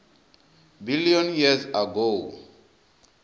billion years ago